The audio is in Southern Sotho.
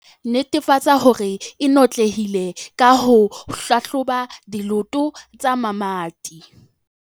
Netefatsa hore e notlelehile ka ho hlahloba diloto tsa mamati.